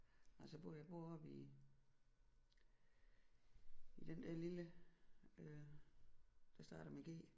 Nej så bor jeg jeg bor oppe i i den der lille øh der starter med G